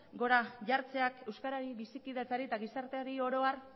gora jartzeak euskarari bizikidetzari eta gizarteari oro har